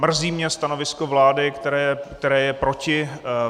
Mrzí mě stanovisko vlády, které je proti.